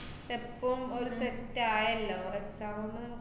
എപ്പം ഒരു set ആയല്ലോ, ഒര് exam മ്